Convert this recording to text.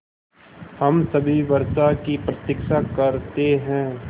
हम सभी वर्षा की प्रतीक्षा करते हैं